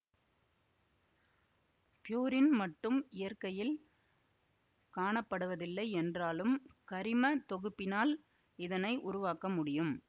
purine மட்டும் இயற்கையில் காணப்படுவதில்லை என்றாலும் கரிம தொகுப்பினால் இதனை உருவாக்க முடியும்